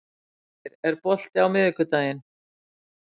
Kristgeir, er bolti á miðvikudaginn?